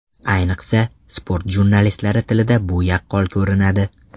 Ayniqsa, sport jurnalistlari tilida bu yaqqol ko‘rinadi.